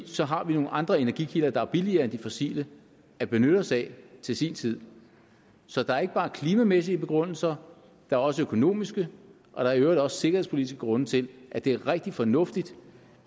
så har vi nogle andre energikilder der er billigere end de fossile at benytte os af til sin tid så der er ikke bare klimamæssige begrundelser der er også økonomiske og der er i øvrigt også sikkerhedspolitiske grunde til at det er rigtig fornuftigt